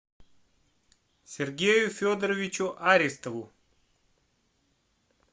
сергею федоровичу аристову